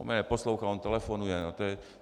- On mě neposlouchá, on telefonuje.